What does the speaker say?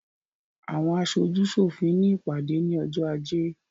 Àwọn aṣojú sòfin ní ìpàdé ní ọjọ́ ajé